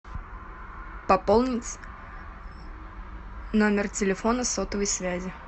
пополнить номер телефона сотовой связи